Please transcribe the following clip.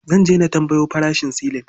Zan je na tambayo farashin silin.